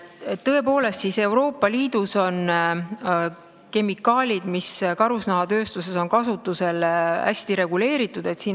Tõepoolest, Euroopa Liidus on kemikaalid, mis karusnahatööstuses on kasutusel, hästi reguleeritud.